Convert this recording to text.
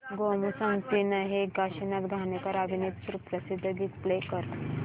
गोमू संगतीने हे काशीनाथ घाणेकर अभिनीत सुप्रसिद्ध गीत प्ले कर